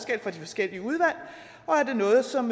de forskellige udvalg og er det noget som